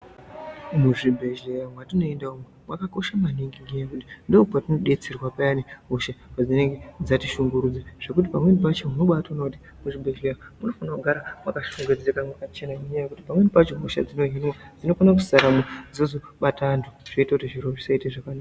Muzvibhedhleya mwatinoenda umwu makakosha maningi nendaa yekuti ndipo patinobetserwa payani hosha padzinenge dzatishungurudza. Zvekuti pamweni pacho unobatoona kuti muzvibhedhleya munofana kugara makashongedzeka makachena ngendaa yekuti pamweni pacho hosha dzinohinwa dzinofana kusaramwo, dzozobata antu zvoita kuti zviro zvisaite zvakanaka.